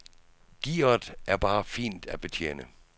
Gearet er bare fint at betjene.